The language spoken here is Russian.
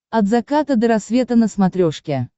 от заката до рассвета на смотрешке